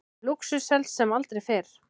Lúxus selst sem aldrei fyrr